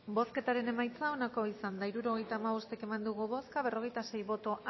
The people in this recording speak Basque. bozketaren emaitza onako izan da hirurogeita hamabost eman dugu bozka berrogeita sei boto